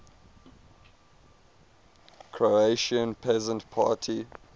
croatian peasant party